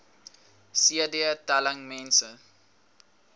cd telling mense